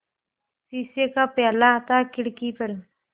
शीशे का प्याला था खिड़की पर